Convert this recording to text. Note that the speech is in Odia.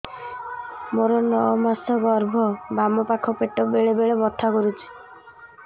ମୋର ନଅ ମାସ ଗର୍ଭ ବାମ ପାଖ ପେଟ ବେଳେ ବେଳେ ବଥା କରୁଛି